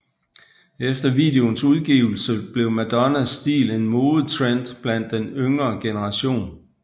Efter videoens udgivelse blev Madonnas stil en modetrend blandt den yngre generation